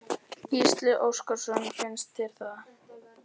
Gísli Óskarsson: Finnst þér það?